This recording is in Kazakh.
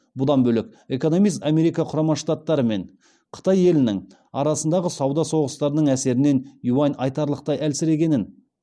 бұдан бөлек экономист америка құрама штаттарымен қытай елінің арасындағы сауда соғыстарының әсерінен юань айтарлықтай әлсірегенін